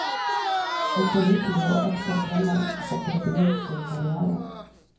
En pålitelig og ekte kremmer hadde begynt sin karriere.